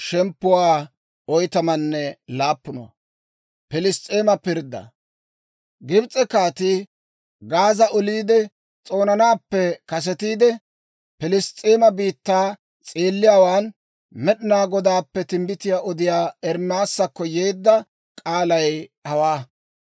Gibs'e kaatii Gaaza oliide s'oonanaappe kasetiide, Piliss's'eema biittaa s'eelliyaawaan Med'inaa Godaappe timbbitiyaa odiyaa Ermaasakko yeedda k'aalay hawaa.